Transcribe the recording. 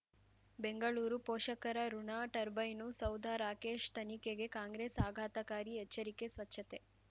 ಬೆಂಗಳೂರು ಪೋಷಕರಋಣ ಟರ್ಬೈನು ಸೌಧ ರಾಕೇಶ್ ತನಿಖೆಗೆ ಕಾಂಗ್ರೆಸ್ ಆಘಾತಕಾರಿ ಎಚ್ಚರಿಕೆ ಸ್ವಚ್ಛತೆ